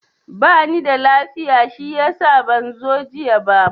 Ba nida lafiya shiyasa ban zo jiya ba.